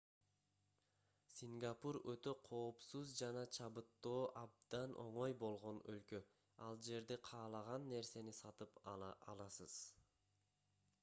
сингапур өтө коопсуз жана чабыттоо абдан оңой болгон өлкө ал жерде каалаган нерсени сатып ала аласыз